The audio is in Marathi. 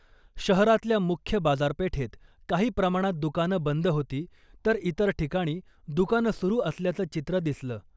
शहरातल्या मुख्य बाजारपेठेत काही प्रमाणात दुकानं बंद होती , तर इतर ठिकाणी दुकानं सुरू असल्याचं चित्र दिसलं .